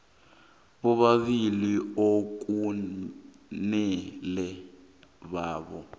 bobabili okumele babe